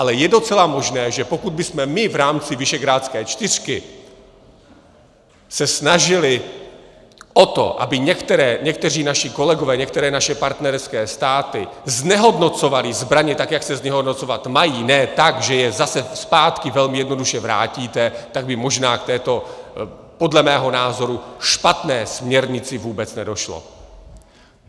Ale je docela možné, že pokud bychom my v rámci visegrádské čtyřky se snažili o to, aby někteří naši kolegové, některé naše partnerské státy znehodnocovaly zbraně tak, jak se znehodnocovat mají, ne tak, že je zase zpátky velmi jednoduše vrátíte, tak by možná k této podle mého názoru špatné směrnici vůbec nedošlo.